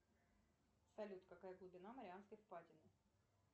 салют какая глубина марианской впадины